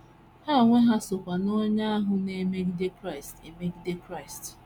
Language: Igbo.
Ha onwe ha kwa so n’onye ahụ na - emegide Kraịst. emegide Kraịst.